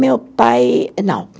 Meu pai, não.